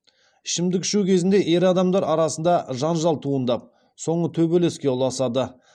ішімдік ішу кезінде ер адамдар арасында жанжал туындап соңы төбелеске ұласады